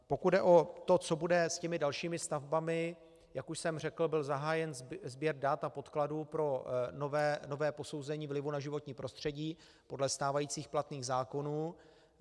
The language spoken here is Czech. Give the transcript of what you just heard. Pokud jde o to, co bude s těmi dalšími stavbami, jak už jsem řekl, byl zahájen sběr dat a podkladů pro nové posouzení vlivu na životní prostředí podle stávajících platných zákonů.